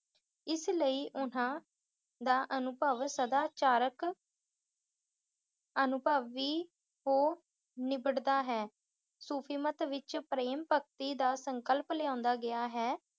ਇਸ ਲਈ ਉਹਨਾਂ ਦਾ ਅਨੁਭਵ ਸਦਾ ਚਾਰਕ ਅਨੁਭਵ ਵੀ ਹੋ ਨਿਬੜਦਾ ਹੈ। ਸੂਫ਼ੀਮਤ ਵਿੱਚ ਪ੍ਰੇਮ ਭਗਤੀ ਦਾ ਸੰਕਲਪ ਲਿਆਂਦਾ ਗਿਆ ਹੈ,